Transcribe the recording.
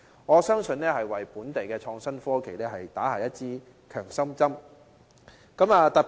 我相信這項發展會為本地的創新科技業，打下一支強心針。